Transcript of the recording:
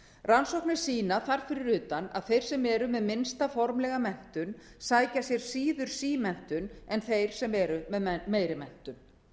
rannsóknir sýna þar fyrir utan að þeir sem eru með minnsta formlega menntun sækja sér síður símenntun en þeir sem eru með meiri menntun